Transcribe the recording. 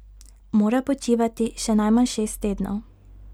Mora počivati še najmanj šest tednov.